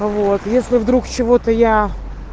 вот если вдруг чего-то я